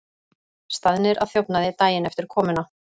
Staðnir að þjófnaði daginn eftir komuna